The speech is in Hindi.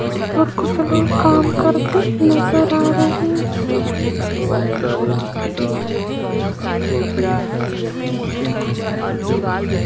और कुछ लोग काम करते नज़र आ रहे है।